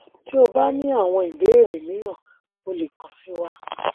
ti o o ba ni awọn ibeere miiran o le kan si wa